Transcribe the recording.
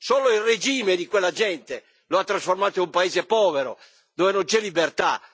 Solo il regime di quella gente lo ha trasformato in un paese povero, dove non c'è libertà.